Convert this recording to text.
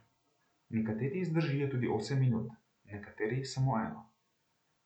Nekateri zdržijo tudi osem minut, nekateri samo eno.